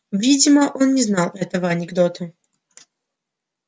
видимо он не знал этого анекдота